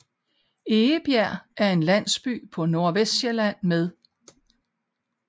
Egebjerg er en landsby på Nordvestsjælland med